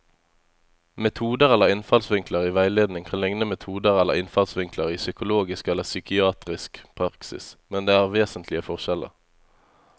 Metoder eller innfallsvinkler i veiledning kan likne metoder eller innfallsvinkler i psykologisk eller psykiatrisk praksis, men det er vesentlige forskjeller.